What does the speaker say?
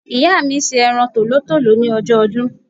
Ìyá mi se eran tòlótòló ni ojó odún